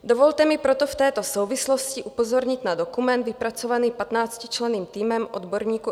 Dovolte mi proto v této souvislosti upozornit na dokument vypracovaný patnáctičlenným týmem odborníků